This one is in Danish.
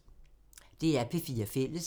DR P4 Fælles